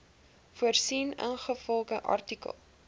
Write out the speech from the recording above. voorsien ingevolge artikel